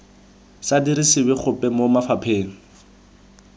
sa dirisiwe gope mo mafapheng